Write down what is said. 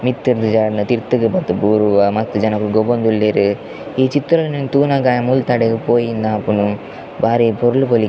ಮಿತ್ತುರ್ದ್ ಜಾರುಂಡ ತಿರ್ತುಗ್ ಬತ್ತ್ ಬೂರುವ ಮಸ್ತ್ ಜನಕುಲ್ ಗೊಬ್ಬೊಂದುಲ್ಲೆರ್ ಈ ಚಿತ್ರಣ ನ್ ತೂನಗ ಮುಲ್ತಡೆಗ್ ಪೋಯಿ ಇಂದ್ ಆಪುಂಡ್ ಬಾರಿ ಪೊರ್ಲು --